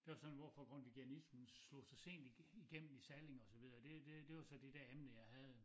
Der var det sådan hvorfor grundtviganismen slog så sent i i gennem i Salling og så videre og det det det var så det dér emne jeg havde